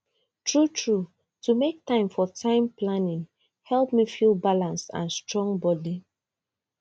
truetrue to make time for time planning help me feel balanced and strong body